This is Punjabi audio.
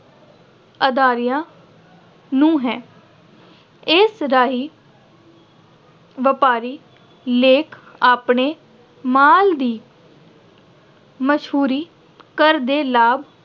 ਅਦਾਰਿਆਂ ਨੂੰ ਹੈ। ਇਸ ਰਾਹੀਂ ਵਪਾਰੀ ਲੋਕ ਆਪਣੇ ਮਾਲ ਦੀ ਮਸ਼ਹੂਰੀ ਘਰ ਦੇ ਲਾਭ